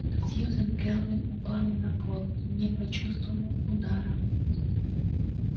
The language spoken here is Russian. сьюзен кэлвин упала на пол не почувствовав удара